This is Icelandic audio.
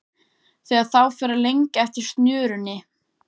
Þegar þá fer að lengja eftir snörunni.